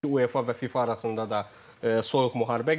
UEFA və FIFA arasında da soyuq müharibə gedir.